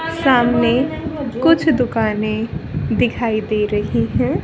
सामने कुछ दुकानें दिखाई दे रही हैं।